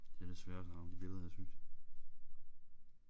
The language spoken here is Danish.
Det er da svært at rage de billeder her ned synes jeg